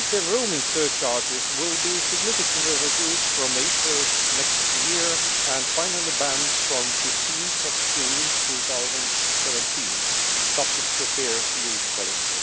Roaming surcharges will be significantly reduced from April next year and finally banned from 15 June 2017, subject to a fair use policy.